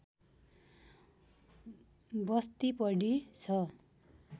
बस्ती बढी छ